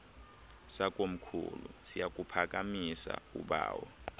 sakomkhulu siyakuphakamisa ubawo